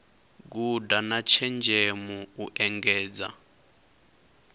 guda na tshenzhemo u engedza